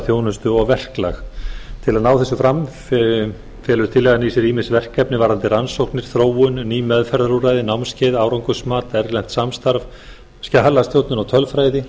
þjónustu og verklag til að ná þessu fram felur tillagan í sér ýmis verkefni varðandi rannsóknir þróun ný meðferðarúrræði námskeið árangursmat erlent samstarf skjalastjórnun og tölfræði